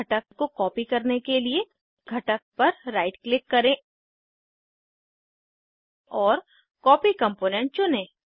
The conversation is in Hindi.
घटक को कॉपी करने के लिए घटक पर राइट क्लिक करें और कॉपी कंपोनेंट चुनें